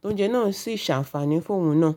tó jẹ ẹ́ náà sì ṣàǹfàní fún òun náà.